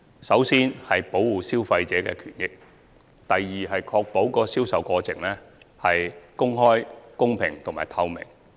首先，保護消費者的權益；第二，確保銷售過程公開、公平及透明。